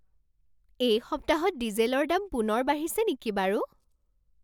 এই সপ্তাহত ডিজেলৰ দাম পুনৰ বাঢ়িছে নেকি বাৰু?